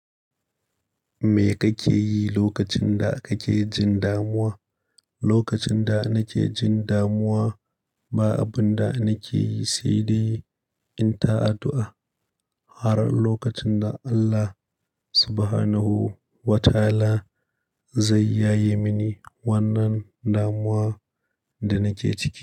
Me kake yi lokacin da kake jin damuwa? Lokacin da nake jin damuwa, ba abun da nake yi, sai dai in ta addu'a. Har in lokacin da Allah Subahanahu wata'ala zai yaye mini wannan damuwa da nake ciki.